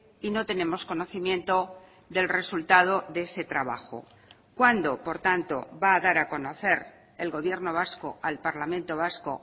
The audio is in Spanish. y no tenemos conocimiento del resultado de ese trabajo cuándo por tanto va a dar a conocer el gobierno vasco al parlamento vasco